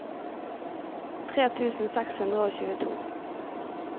tre tusen seks hundre og tjueto